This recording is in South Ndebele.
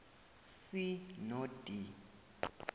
c no d